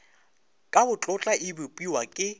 ka botlotla e bopiwa ke